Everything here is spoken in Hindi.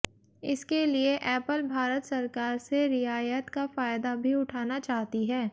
इसके लिए ऐपल भारत सरकार से रियायत का फायदा भी उठाना चाहती है